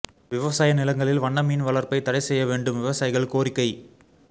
விவசாய நிலங்களில் வண்ண மீன் வளா்ப்பைத் தடை செய்ய வேண்டும்விவசாயிகள் கோரிக்கை